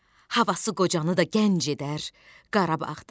Havası qocanı da gənc edər Qarabağda.